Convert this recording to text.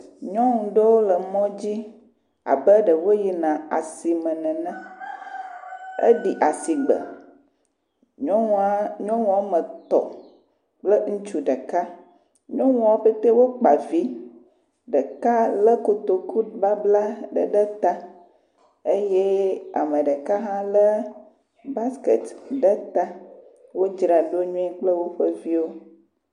Nyɔnu ɖewo le mɔ dzi abe ɖe woyina asime nene, eɖi asi gbe, nyɔnua nyɔnu woame etɔ̃ kple ŋutsu ɖeka, nyɔnuawo ƒete wokpa vi, ɖeka aɖe lé kotokubabla ɖe ɖe ta eye ame ɖeka hã lé baskɛt ɖe ta, wodzraɖo nyuie kple woƒe viwo.